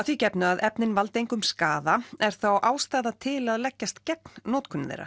því gefnu að efnin valdi engum skaða er þá ástæða til að leggjast gegn notkun þeirra